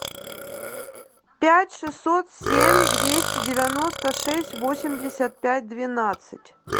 пять шестьсот семь двести девяносто шесть восемьдесят пять двенадцать